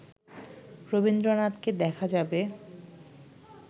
রবীন্দ্রনাথকে দেখা যাবে